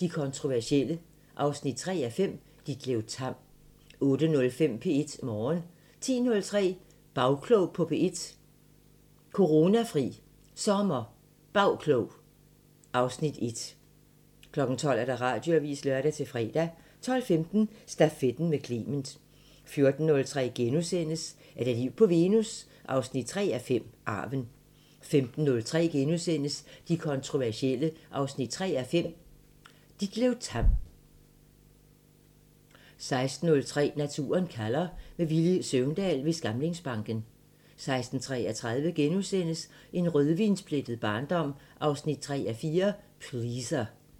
De kontroversielle 3:5 – Ditlev Tamm * 08:05: P1 Morgen 10:03: Bagklog på P1: Coronafri SommerBagklog (Afs. 1) 12:00: Radioavisen (lør-fre) 12:15: Stafetten med Clement 14:03: Er der liv på Venus? 3:5 – Arven * 15:03: De kontroversielle 3:5 – Ditlev Tamm * 16:03: Naturen kalder – med Villy Søvndal ved Skamlingsbanken 16:33: En rødvinsplettet barndom 3:4 – Pleaser *